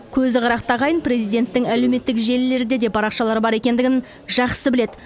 көзі қырақты ағайын президенттің әлеуметтік желілерде де парақшалары бар екендігін жақсы біледі